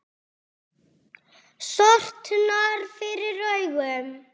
Sortnar fyrir augum.